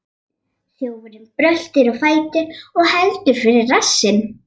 Þjófurinn bröltir á fætur og heldur fyrir rassinn.